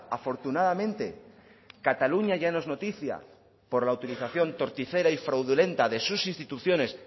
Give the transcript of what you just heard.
afortunadamente cataluña ya no es noticia por la utilización torticera y fraudulenta de sus instituciones